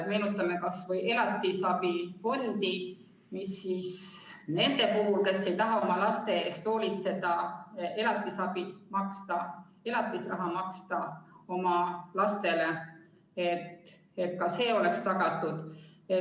Meenutame kas või elatisabifondi, mis aitab kaasa, et ka neile, kes ei taha oma laste eest hoolitseda ega neile elatisraha maksta, oleks abi tagatud.